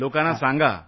लोकांना सांगा